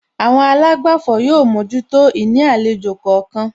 Àwọn àlágbàfọ̀ yóò mójútó ìní àlejò kọ̀ọ̀kan